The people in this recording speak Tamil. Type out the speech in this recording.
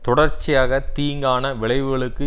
தொடர்ச்சியாக தீங்கான விளைவுகளுக்கு